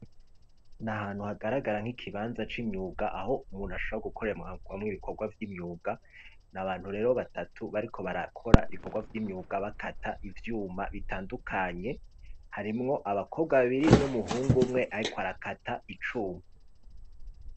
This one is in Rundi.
Ni ahantu hagaragara nk'ikibanza c'imyuga, aho umuntu ashobora gukoreramwo ibikorwa vy'imyuga, ni abantu rero batatu bariko barakora ibikorwa vy'imyuga, bakata ivyuma bitandukanye, harimwo abakobwa babiri, n'umuhungu umwe ariko arakata icuma.